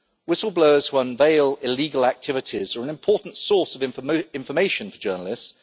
Whistleblowers who unveil illegal activities are an important source of information for journalists.